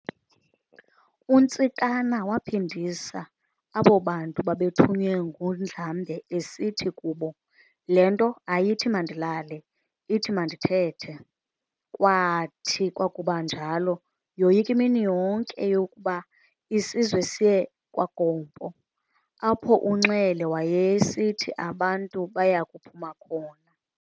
UNtsikana waphindisa abo bantu babethunywe nguNdlambe esithi kubo, "Le nto ayithi mandilale, ithi mandithethe". Kwaathi kwakuba njalo, yoyika imini yonke yokuba isizwe siye kwaGompo, apho uNxele wayesithi abantu bayakuphuma khona.